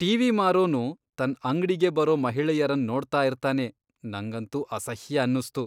TV ಮಾರೋನು ತನ್ ಅಂಗ್ಡಿಗೆ ಬರೋ ಮಹಿಳೆಯರನ್ ನೋಡ್ತಾ ಇರ್ತಾನೆ ನಂಗಂತೂ ಅಸಹ್ಯ ಅನ್ನುಸ್ತು.